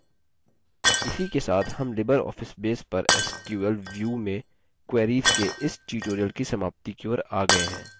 इसी के साथ हम libreoffice base पर sql view में queries के इस tutorial की समाप्ति की ओर आ गये हैं